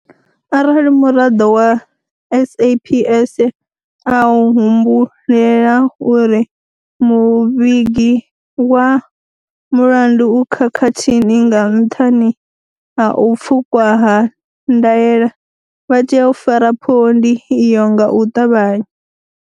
Arali muraḓo wa SAPS a humbulela uri muvhigi wa mulandu u khakhathini nga nṱhani ha u pfukwa ha ndaela, vha tea u fara phondi iyo nga u ṱavhanya.